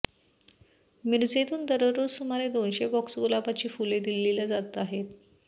मिरजेतून दररोज सुमारे दोनशे बॉक्स गुलाबाची फुले दिल्लीला जात आहेत